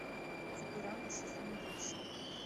футурама сезон восемь